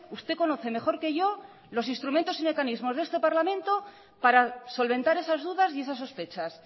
usted conoce mejor que yo los instrumentos y mecanismos de este parlamento para solventar esas dudas y esas sospechas